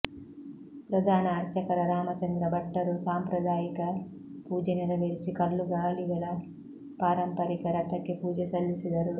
ಪ್ರಧಾನ ಅರ್ಚಕ ರಾಮಚಂದ್ರ ಭಟ್ಟರು ಸಾಂಪ್ರದಾಯಿಕ ಪೂಜೆ ನೆರವೇರಿಸಿ ಕಲ್ಲುಗಾಲಿಗಳ ಪಾರಂಪರಿಕ ರಥಕ್ಕೆ ಪೂಜೆ ಸಲ್ಲಿಸಿದರು